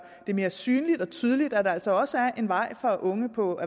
det mere synligt og tydeligt at der altså også er en vej for unge på